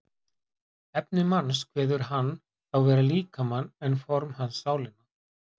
Efni manns kveður hann þá vera líkamann en form hans sálina.